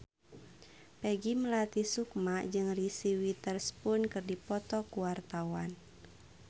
Peggy Melati Sukma jeung Reese Witherspoon keur dipoto ku wartawan